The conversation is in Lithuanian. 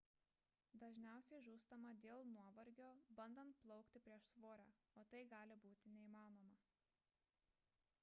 dažniausia žūstama dėl nuovargio bandant plaukti prieš srovę o tai gali būti neįmanoma